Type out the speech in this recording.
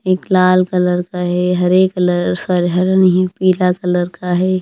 एक लाल कलर का हैहरे कलर सॉरी हरे नहीं है पीला कलर का है।